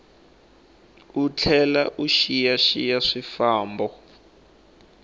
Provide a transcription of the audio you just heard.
u tlhela u xiyaxiya swifambo